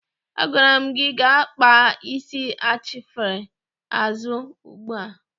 Agwara m gị gaa kpaa isi achịfere azụ ugbu a!